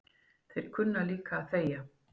Þeir kunna líka að þegja